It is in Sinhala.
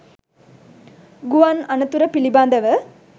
ගුවන් අනතුර පිළිබඳව